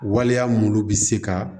Waleya mun bɛ se ka